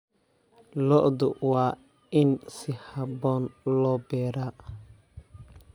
Lo'da waa in si habboon loo beeraa.